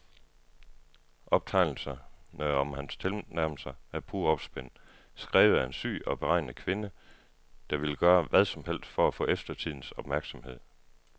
Optegnelserne om hans tilnærmelser er pure opspind, skrevet af en syg og beregnende kvinde, der ville gøre hvad som helst for at få eftertidens opmærksomhed.